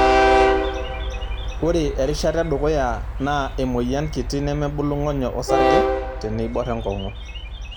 Ore erishata edukuya naa emoyian kiti nemebulu ng'onyo osarge teneiborr enkongu.